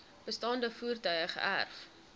bestaande voertuie geërf